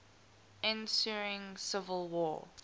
ensuing civil war